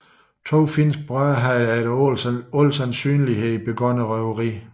To finske brødre havde efter al sandsynlighed begået røveriet